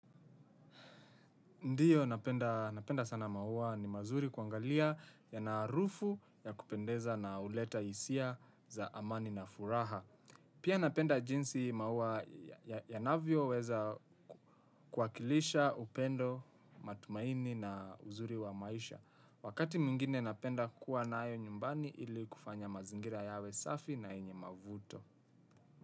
Ndiyo napenda sana maua ni mazuri kuangalia yana harufu ya kupendeza na huleta hisia za amani na furaha. Pia napenda jinsi maua yanavyoweza kuwakilisha upendo matumaini na uzuri wa maisha. Wakati mwingine napenda kuwa nayo nyumbani ili kufanya mazingira yawe safi na yenye mavuto.